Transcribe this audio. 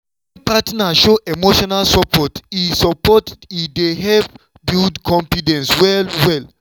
wen partner show emotional support e support e dey help build confidence well well.